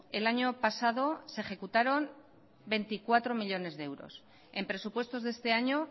el año pasado se ejecutaron veinticuatro millónes de euros en presupuestos de este año